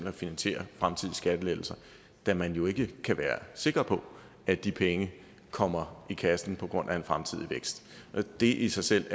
at finansiere fremtidige skattelettelser da man jo ikke kan være sikker på at de penge kommer i kassen på grund af en fremtidig vækst og det i sig selv